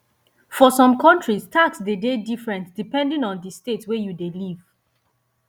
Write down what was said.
for some countries tax de dey different depending on di state wey you dey live